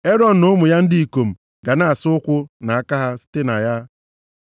Erọn na ụmụ ya ndị ikom ga na-asa ụkwụ na aka ha site na ya.